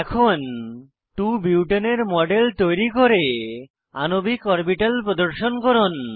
এখন 2 বুটেনে 2 বিউটেন এর মডেল তৈরী করে আণবিক অরবিটাল প্রদর্শন করুন